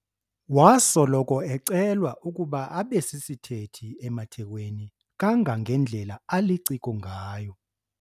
Wasoloko ecelwa ukuba abe sisithethi emathekweni kangangendlela aliciko ngayo.